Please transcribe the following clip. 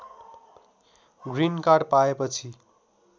green card पाएपछि